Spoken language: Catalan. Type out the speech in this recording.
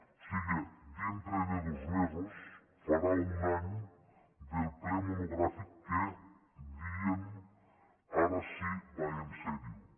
o siga dintre de dos mesos farà un any del ple monogràfic que deien ara sí va seriosament